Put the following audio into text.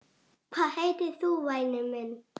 Hvað heitir þú væni minn?